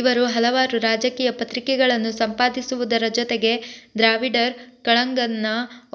ಇವರು ಹಲವಾರು ರಾಜಕೀಯ ಪತ್ರಿಕೆಗಳನ್ನು ಸಂಪಾದಿಸುವುದರ ಜೊತೆಗೆ ದ್ರಾವಿಡರ್ ಕಳಗಂನ